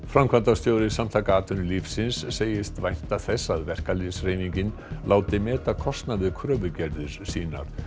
framkvæmdastjóri Samtaka atvinnulífsins segist vænta þess að verkalýðshreyfingin láti meta kostnað við kröfugerðir sínar